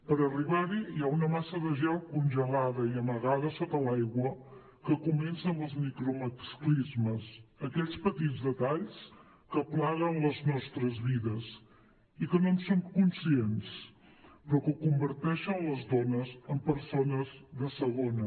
per arribar hi hi ha una massa de gel congelada i amagada sota l’aigua que comença amb els micromasclismes aquells petits detalls que plaguen les nostres vides i que no en som conscients però que converteixen les dones en persones de segona